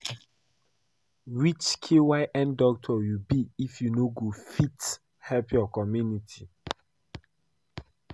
Which kyn doctor you be if you no go fit help your community?